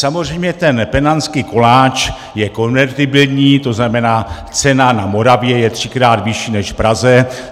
Samozřejmě ten penamský koláč je konvertibilní, to znamená, cena na Moravě je třikrát vyšší než v Praze.